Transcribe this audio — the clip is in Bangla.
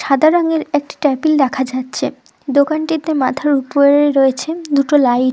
সাদা রঙের একটি টেবিল দেখা যাচ্ছে। দোকানটিতে মাথার উপরে রয়েছে দুটো লাই--